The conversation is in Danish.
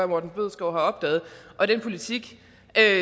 morten bødskov har opdaget og den politik